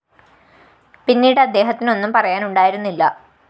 പിന്നീട് അദ്ദേഹത്തിന് ഒന്നും പറയാനുണ്ടായിരുന്നില്ല